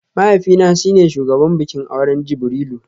Mahaifina shi ne shugaban bikin auren Jibrilu